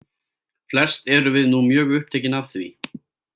Flest erum við nú mjög upptekin af því.